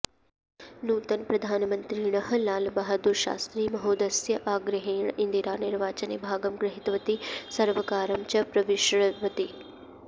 नूतनप्रधानमन्त्रिणः लालबहाद्धूरशास्त्री महोदयस्य आग्रहेण इन्दिरा निर्वाचने भागं गृहीतवती सर्वकारं च प्रविषृवती